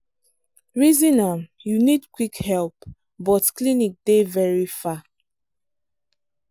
reason am you need quick help but clinic dey very far.